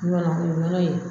nɔnɔ ye